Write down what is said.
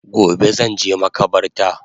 Gobe zanje makabarta